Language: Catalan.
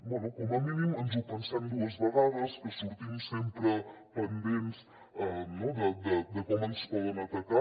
bé com a mínim ens ho pensem dues vegades que sortim sempre pendents de com ens poden atacar